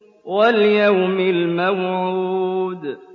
وَالْيَوْمِ الْمَوْعُودِ